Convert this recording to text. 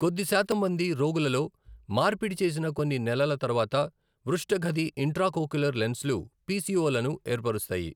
కొద్ది శాతం మంది రోగులలో, మార్పిడి చేసిన కొన్ని నెలల తర్వాత పృష్ఠ గది ఇంట్రాకోక్యులర్ లెన్స్లు పిసిఓ లను ఏర్పరుస్తాయి.